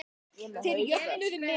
Þeir jöfnuðu metin.